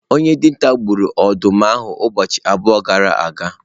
Onye dinta gburu ọdụm ahụ ụbọchị abụọ gara aga?